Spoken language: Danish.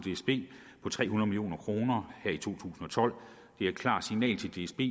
tre hundrede million kroner her i to tusind og tolv det er et klart signal til dsb